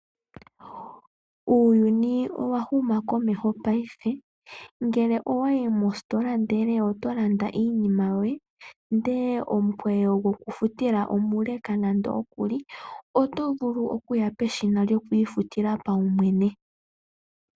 Uuyuni owa huma komeho mongashingeyi ngele owa yi mositola ndele oto landa iinima yoye ihe omukweyo gwokufutila omuleleka, oto vulu okuya peshina lyokwiifutila paumwene.